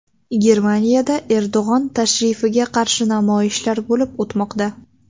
Germaniyada Erdo‘g‘on tashrifiga qarshi namoyishlar bo‘lib o‘tmoqda.